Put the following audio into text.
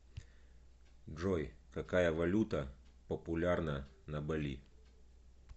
джой какая валюта популярна на бали